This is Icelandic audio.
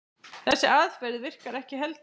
Þessi aðferð virkar ekki heldur.